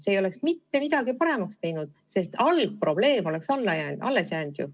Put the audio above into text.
See ei oleks mitte midagi paremaks teinud, sest algne probleem oleks ju alles jäänud.